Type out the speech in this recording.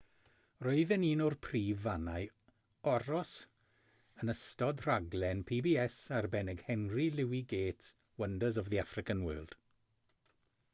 roedd yn un o'r prif fannau aros yn ystod rhaglen pbs arbennig henry louis gates wonders of the african world